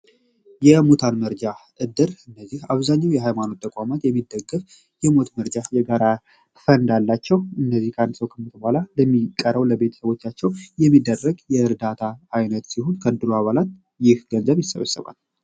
የሙታን መርጃ እድር አብዛኛው የሃይማኖት ተቋማት የሞት መርጃ የጋራ ፈንድ አላቸው እነዚህ አንድ ሰው ከሞተ በኋላ ለሚቀረው ለቤተሰቦቻችን የሚደረግ የእርዳታ አይነት ይሆን ከዕድሩ አባላት ገንዘብ ይሰበሰባል።